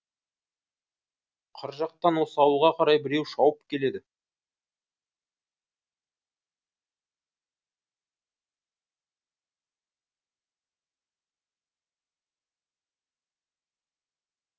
қыр жақтан осы ауылға қарай біреу шауып келеді